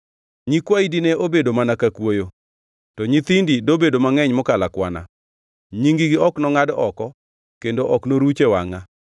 Nyikwayi dine obedo mana ka kwoyo, to nyithindi dobedo mangʼeny mokalo akwana; nying-gi ok nongʼad oko kendo ok noruch e wangʼa.”